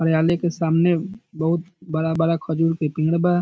कार्यालय के सामने बहुत बड़ा-बड़ा खजूर के पेड़ बा।